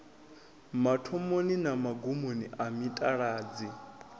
mathomoni na magumoni a mitaladzi